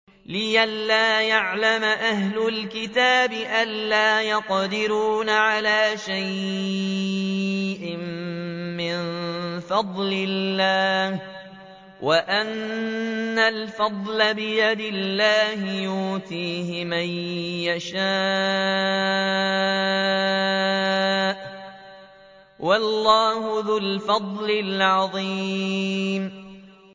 لِّئَلَّا يَعْلَمَ أَهْلُ الْكِتَابِ أَلَّا يَقْدِرُونَ عَلَىٰ شَيْءٍ مِّن فَضْلِ اللَّهِ ۙ وَأَنَّ الْفَضْلَ بِيَدِ اللَّهِ يُؤْتِيهِ مَن يَشَاءُ ۚ وَاللَّهُ ذُو الْفَضْلِ الْعَظِيمِ